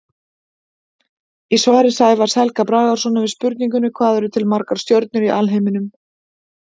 Í svari Sævars Helga Bragasonar við spurningunni Hvað eru til margar stjörnur í alheiminum?